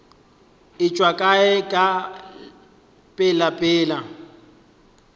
e tšwa kae ka pelapela